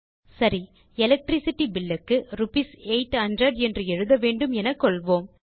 சரி electricity bill க்கு rupees 800 என்று எழுத வேண்டும் என கொள்வோம்